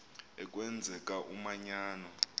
a kwenzeka umanyano